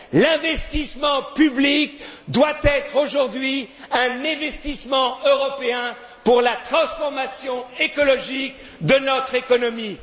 L'investissement public doit être aujourd'hui un investissement européen pour la transformation écologique de notre économie.